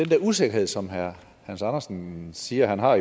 der usikkerhed som herre hans andersen siger han har